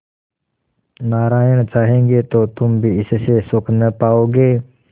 नारायण चाहेंगे तो तुम भी इससे सुख न पाओगे